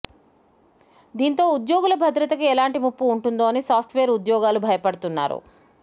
దీంతో ఉద్యోగుల భద్రతకి ఎలాంటి ముప్పు ఉంటుందో అని సాఫ్ట్ వేర్ ఉద్యోగులు డెబ భయపడుతున్నారు